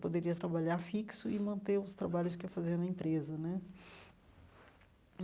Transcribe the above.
Poderia trabalhar fixo e manter os trabalhos que eu fazia na empresa né.